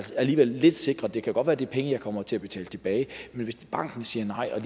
lidt sikret det kan godt være at det er penge de kommer til at betale tilbage men hvis banken siger nej er